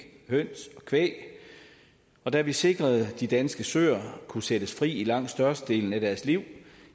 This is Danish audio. høns og kvæg og da vi sikrede at de danske søer kunne sættes fri i langt størstedelen af deres liv